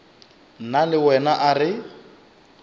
nna le wena a re